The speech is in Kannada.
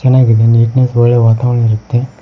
ಚನ್ನಾಗಿದೆ ನೀಟ್ನೆಸ್ ಒಳ್ಳೆ ವಾತಾವರಣ ಇರುತ್ತೆ.